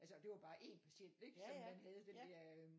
Altså og det var bare en patient ik som man havde den der øhm